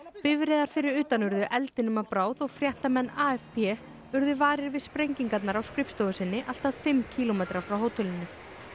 bifreiðar fyrir utan urðu eldinum að bráð og fréttamenn urðu varir við sprengingarnar á skrifstofu sinni allt að fimm kílómetra frá hótelinu